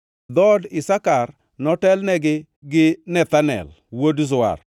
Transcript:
Dhood Isakar notelnegi gi Nethanel wuod Zuar,